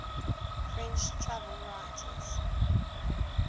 french travel writers